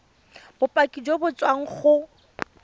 bopaki jo bo tswang go